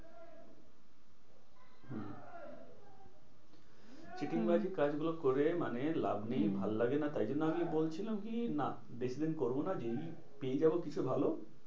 চিটিংবাজি কাজ করে মানে লাভ নেই হ্যাঁ ভালো লাগে না। তাই জন্য আমি বলছিলাম কি? নাহ বেশিদিন করবো না যেদিন পেয়ে যাবো কিছু ভালো